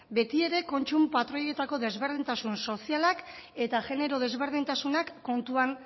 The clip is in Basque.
betiere kontsumo patroietako desberdintasun sozialak eta genero desberdintasunak kontuan